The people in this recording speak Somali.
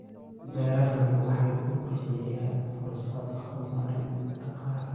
Beerahani waxa uu bixiyaa fursado horumar dhaqaale.